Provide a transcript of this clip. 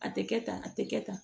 A tɛ kɛ tan a tɛ kɛ tan